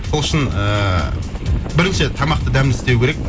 сол үшін ііі бірінші тамақты дәмді істеу керек